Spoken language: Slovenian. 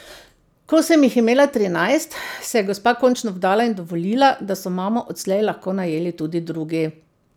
Ko sem jih imela trinajst, se je gospa končno vdala in dovolila, da so mamo odslej lahko najeli tudi drugi.